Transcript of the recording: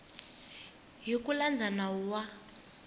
hi ku landza nawu wa